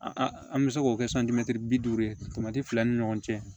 An an bɛ se k'o kɛ bi duuru ye fila ni ɲɔgɔn cɛ